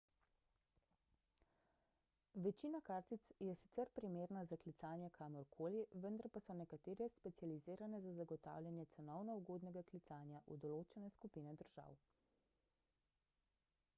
večina kartic je sicer primerna za klicanje kamor koli vendar pa so nekatere specializirane za zagotavljanje cenovno ugodnega klicanja v določene skupine držav